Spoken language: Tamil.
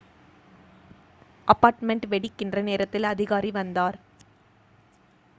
அபார்ட்மெண்ட் வெடிக்கின்ற நேரத்தில் அதிகாரி வந்தார்